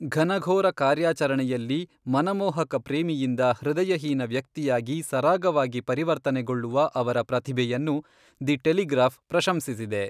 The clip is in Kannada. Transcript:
ಘನಘೋರ ಕಾರ್ಯಾಚರಣೆಯಲ್ಲಿ ಮನಮೋಹಕ ಪ್ರೇಮಿಯಿಂದ ಹೃದಯಹೀನ ವ್ಯಕ್ತಿಯಾಗಿ ಸರಾಗವಾಗಿ ಪರಿವರ್ತನೆಗೊಳ್ಳುವ ಅವರ ಪ್ರತಿಭೆಯನ್ನು ದಿ ಟೆಲಿಗ್ರಾಫ್ ಪ್ರಶಂಸಿಸಿದೆ.